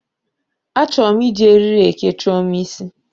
Achọrọ m iji eriri eke Chioma isi.